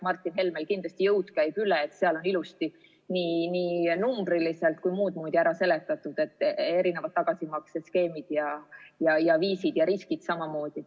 Martin Helmel kindlasti jõud käib üle, seal on ilusti nii numbriliselt kui ka muudmoodi ära seletatud tagasimaksete skeemid ja viisid ning riskid samuti.